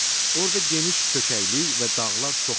Orda geniş çökəklik və dağlar çoxdur.